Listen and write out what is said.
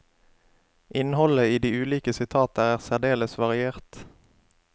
Innholdet i de ulike sitater er særdeles variert.